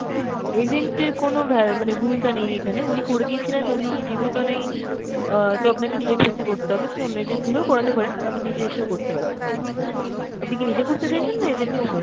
agent এর কোনো ভ্যা~ মানে ভূমিকা নেই এখানে, উনি করে দিয়েছিলেন, উনি জীবিত নেই অ্যাঁ তো আপনাকে direct চেষ্টা করতে হবে। আপনি অন্য agent ধরেও করাতে পারেন, আবার নিজে এসেও করতে পারেন। আপনি কি নিজে করতে চাইছেন না agent through?